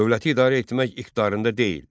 Dövləti idarə etməyə iqtidarında deyil.